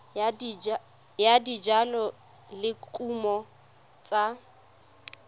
ya dijalo le dikumo tsa